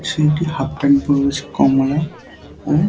ছেলেটি half pant পড়ে রয়েছে কমলা ও--